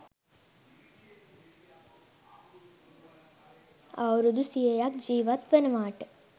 අවුරුදු සියයක් ජීවත් වනවාට